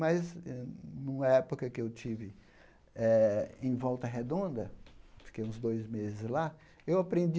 Mas hum, numa época em que eu estive eh em Volta Redonda, fiquei uns dois meses lá, eu aprendi